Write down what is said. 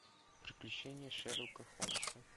приключения шерлока холмса